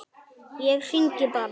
Ég hringi bara.